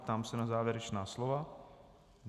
Ptám se na závěrečná slova.